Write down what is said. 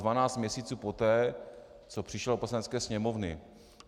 Dvanáct měsíců poté, co přišel do Poslanecké sněmovny.